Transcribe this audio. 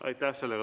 Aitäh!